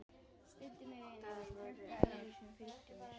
Það voru aðrir sem fylgdu mér.